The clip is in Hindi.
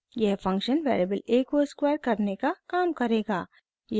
यह फंक्शन वेरिएबल a को स्क्वायर करने का काम करेगा